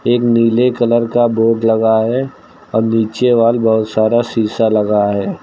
एक नीले कलर का बोर्ड लगा है और नीचे वाल बहुत सारा शीशा लगा है।